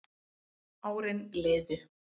Árin liðu